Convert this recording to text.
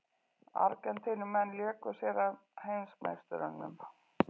Argentínumenn léku sér að heimsmeisturunum